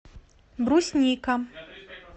брусника